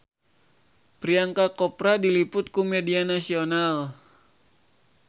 Priyanka Chopra diliput ku media nasional